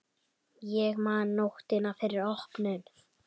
Ég man nóttina fyrir opnun.